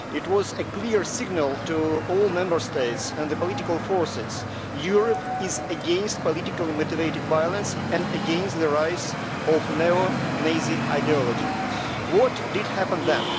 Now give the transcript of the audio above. It was a clear signal to all Member States and the political forces Europe is against politically-motivated violence and against the rise of neo-Nazist ideology. What happened then?